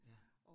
Ja